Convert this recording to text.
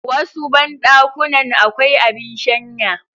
Wasu banɗakunan akwai abin shanya